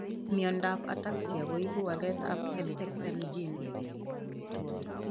Miondap ataxia koipu walet ap fxn gene